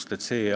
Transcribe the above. Nüüd teine asi.